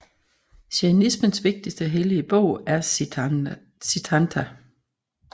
Jainismens vigtigste hellige bog er Siddhanta